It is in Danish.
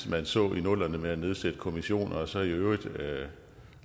man så i nullerne med at nedsætte kommissioner og så i øvrigt